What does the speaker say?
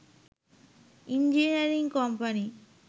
engineering company